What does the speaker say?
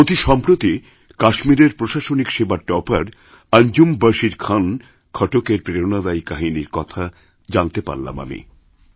অতিসম্প্রতি কাশ্মীরের প্রশাসনিক সেবার টপার অঞ্জুম বশির খান খটকএর প্রেরণাদায়ীকাহিনীর কথা জানতে পারলাম আমি